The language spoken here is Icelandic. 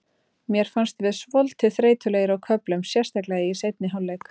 Mér fannst við svolítið þreytulegir á köflum, sérstaklega í seinni hálfleik.